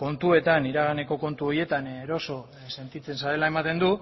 kontuetan iraganeko kontu horietan eroso sentitzen zarela ematen du